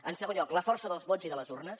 en segon lloc la força dels vots i de les urnes